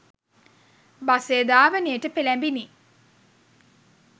බසය ධාවනයට පෙළැඹිණි.